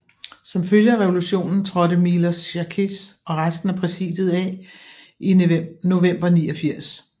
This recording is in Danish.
Som følge af revolutionen trådte Miloš Jakeš og resten af præsidiet af i november 1989